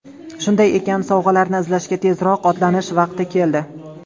Shunday ekan, sovg‘alarni izlashga tezroq otlanish vaqti keldi!